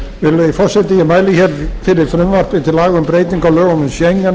virðulegi forseti ég mæli fyrir frumvarpi til laga um breytingu á lögum um schengen